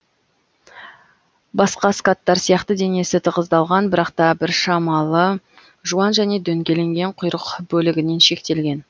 басқа скаттар сияқты денесі тығыздалған бірақ та біршамалы жуан және дөңгеленген құйрық бөлігінен шектелген